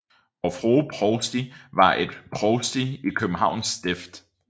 Vor Frue Provsti var et provsti i Københavns Stift